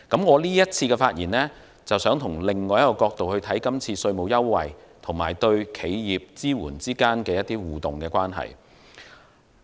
我這次發言想從另一個角度來看今次稅務優惠與對企業支援之間的互動關係。